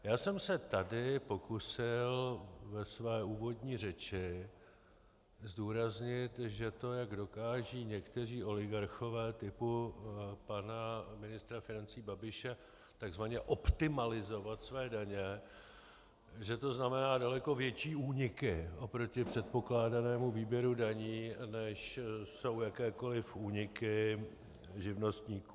Já jsem se tady pokusil ve své úvodní řeči zdůraznit, že to, jak dokážou někteří oligarchové typu pana ministra financí Babiše tzv. optimalizovat své daně, že to znamená daleko větší úniky oproti předpokládanému výběru daní, než jsou jakékoli úniky živnostníků.